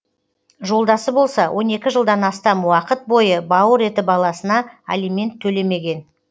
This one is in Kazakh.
жолдасы болса он екі жылдан астам уақыт бойы бауыр еті баласына алимент төлемеген